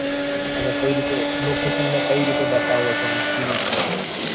તમે કઈ રીતે location ને કઈ રીતે બતાવો છો અને શું છે મતલબ એમ